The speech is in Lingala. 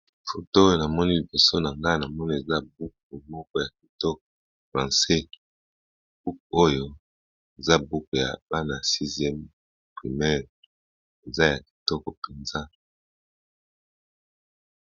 Na moni buku ya kitoko ya bana ya sixieme primaire ya Francais eza ya kitoko penza.